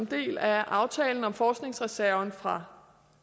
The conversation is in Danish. del af aftalen om forskningsreserven fra